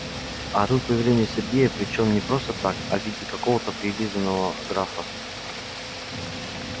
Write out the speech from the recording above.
а тут появление сергей причём не просто так а в виде какого-то прилизанного графа